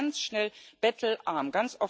Sie sind ganz schnell bettelarm.